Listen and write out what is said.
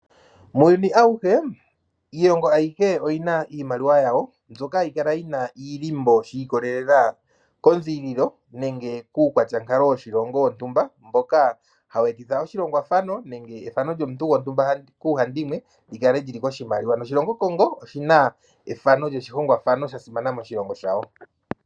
Muuyuni awuhe iilongo ayihe oyina iimaliwa yawo mbyoka hayi kala yina iilimbo shi ikolelela konziililo nenge kuukwatyankalo woshilongo shontumba mboka hawu etitha oshilongwafano nenge efano lyomuntu gontumba kuuhandimwe lyi kale lyi li koshimaliwa. Noshilongo Congo oshina efano lyoshihongwafano sha simana moshilongo shawo.